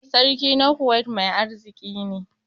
Sarki na Kuwait mai arziki ne.